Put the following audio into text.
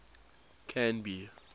canby